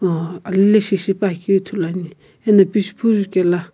aa anileshi shipuakeu ithuluani ena pishupo jukela.